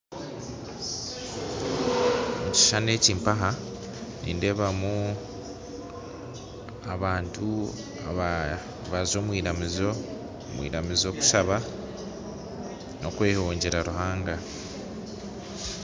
Ekishushani eki mpaha nindebamu abantu abaza omu iramizo omu iramizo kushaba nokwehongyera Ruhanga.